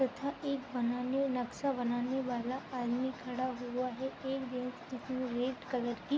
तथा एक बनाने नक्सा बनाने वाला आदमी खड़ा हुआ है एक व्यक्ति रेड कलर की --